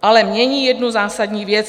Ale mění jednu zásadní věc.